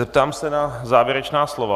Zeptám se na závěrečná slova.